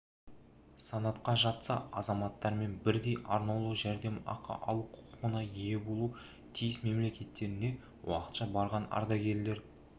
санатқа жатса азаматтарымен бірдей арнаулы жәрдемақы алу құқығына ие болуы тиіс мемлекеттеріне уақытша барған ардагерлер